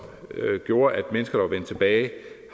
gjorde at mennesker der var vendt tilbage